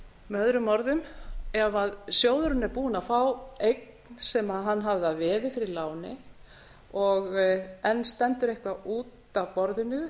með öðrum orðum ef sjóðurinn er búinn að fá eign sem hann hafði að veði fyrir láni og enn stendur eitthvað út af borðinu